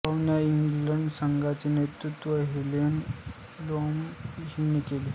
पाहुण्या इंग्लंड संघाचे नेतृत्व हेलेन प्लीमर हिने केले